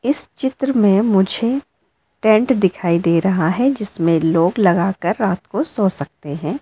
इस चित्र में मुझे टेंट दिखाई दे रहा है जिसमें लॉक लगाकर रात को सो सकते हैं।